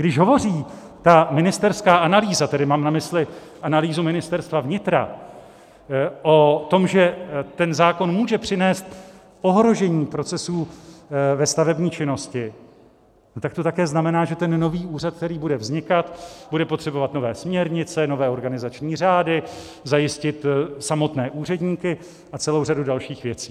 Když hovoří ta ministerská analýza, tedy mám na mysli analýzu Ministerstva vnitra, o tom, že ten zákon může přinést ohrožení procesů ve stavební činnosti, tak to také znamená, že ten nový úřad, který bude vznikat, bude potřebovat nové směrnice, nové organizační řády, zajistit samotné úředníky a celou řadu dalších věcí.